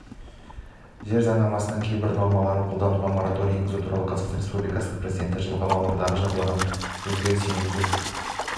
жер заңнамасының кейбір нормаларын қолдануға мораторий енгізу туралы қазақстан республикасы президентінің жылғы мамырдағы жарлығына өзгеріс енгізу